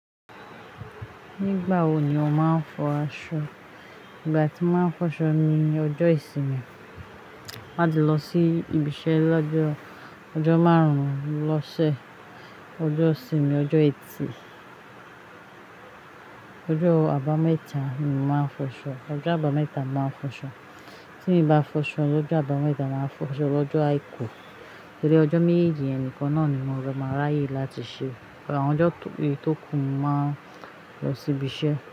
Nígbà wo ni o máa ń fọ aṣọ? Ìgbà tí mo máa ń fọṣọ ni ọjọ́ ìsinmi. Má di lọ sí ibi iṣẹ́ lọ́jọ́ ọjọ́ márùn-ún lọ́sẹ̀, ọjọ́ ìsinmi, ọjọ́ ẹtì, ọjọ́ àbámẹ́ta ni mo máa ń fọṣọ. Ọjọ́ àbámẹ́ta mo máa ń fọṣọ. Tí n bá fọṣọ ọjọ́ àbámẹ́ta, màá fọṣọ lọ́jọ́ àìkú. Tori ọjọ́ méjeeji yen nìkan náà ni mo rọ máa ráyè láti ṣe. Ọjọ́ eyi tókù mo máa ń lọ sí ibi iṣẹ́.